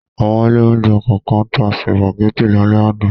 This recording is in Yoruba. Àwọn ilé-oúnjẹ kọ̀ọ̀kan tá sìpàgẹ́tì lálẹ́ àná.